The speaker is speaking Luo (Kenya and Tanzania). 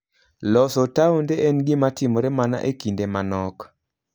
Loso taonde en gima timore mana e kinde manok.